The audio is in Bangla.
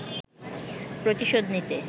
প্রতিশোধ নিতে